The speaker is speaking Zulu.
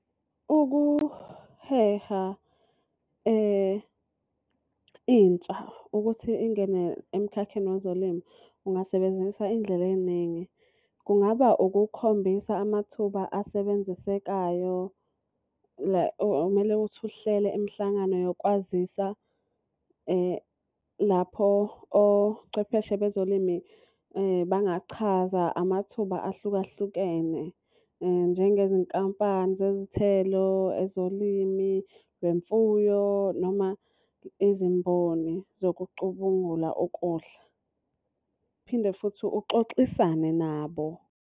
Ukuheha intsha ukuthi ingene emkhakheni wezolimo, ungasebenzisa iy'ndlela ey'ningi. Kungaba ukukhombisa amathuba asebenzisekayo la okumele ukuthi uhlele imihlangano yokwazisa lapho ochwepheshe bezolimi bangachaza amathuba ahlukahlukene. Njengezinkampani zezithelo, ezolimi lwemfuyo noma izimboni zokucubungula ukudla. Phinde futhi uxoxisane nabo.